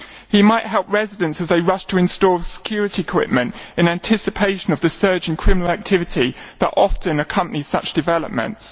He might help residents as they rush to install security equipment in anticipation of the surge in criminal activity that often accompanies such developments.